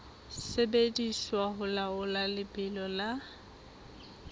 sebediswa ho laola lebelo la